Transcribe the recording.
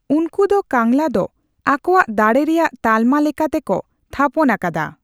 ᱩᱱᱠᱩ ᱫᱚ ᱠᱟᱝᱞᱟ ᱫᱚ ᱟᱠᱚᱣᱟᱜ ᱫᱟᱲᱮ ᱨᱮᱭᱟᱜ ᱛᱟᱞᱢᱟ ᱞᱮᱠᱟᱛᱮ ᱠᱚ ᱛᱷᱟᱯᱚᱱ ᱟᱠᱟᱫᱟ ᱾